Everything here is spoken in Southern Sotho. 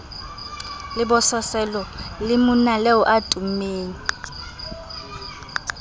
lebososelo le monaleo a tummeng